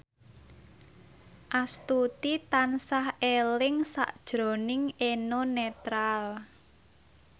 Astuti tansah eling sakjroning Eno Netral